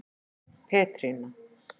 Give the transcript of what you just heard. Petrína